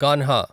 Kanha